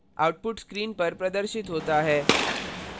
output screen पर प्रदर्शित होता है